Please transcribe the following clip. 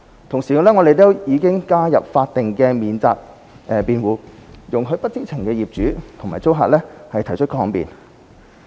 同時，我們已加入法定免責辯護，容許不知情的業主和租客提出抗辯。